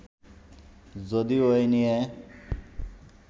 যদিও এ নিয়ে